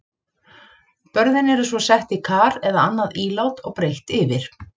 Börðin eru svo sett í kar eða annað ílát og breitt yfir.